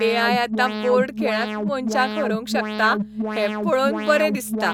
ए. I. आतां board खेळांत मनशांक हरोवंक शकता हें पळोवन बरें दिसता.